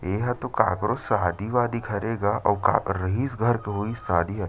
इहाँ तो काकरों शादी वादी घरे गा अऊ काबर रहिस घर तो होइस शादी ह।